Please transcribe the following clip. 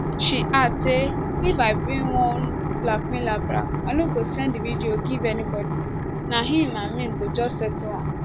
she add say if i bin wan blackmail abraham i no go send di video give anybodi na im and me go just settle am